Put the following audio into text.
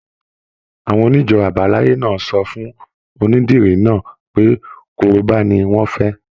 Àwọn onijo abalaye náà sọ fún onídìrí náà pé korobá ni wọn fẹ.